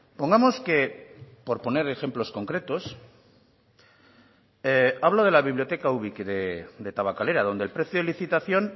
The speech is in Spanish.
pongamos que por poner ejemplos concretos hablo de la biblioteca ubik de tabakalera donde el precio de licitación